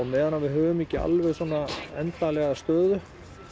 meðan við höfum ekki alveg endanlega stöðu